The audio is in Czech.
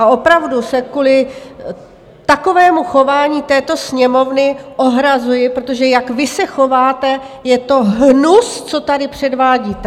A opravdu se kvůli takovému chování této Sněmovny ohrazuji, protože jak vy se chováte, je to hnus, co tady předvádíte!